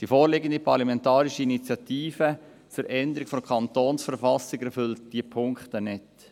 Die vorliegende parlamentarische Initiative zur Veränderung der Kantonsverfassung erfüllt diese Punkte nicht.